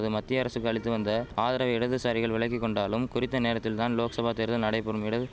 மத்திய அரசுக்கு அளித்து வந்த ஆதரவை இடதுசாரிகள் விலக்கி கொண்டாலும் குறித்த நேரத்தில் தான் லோக்சபா தேர்தல் நடைபெறும் இடது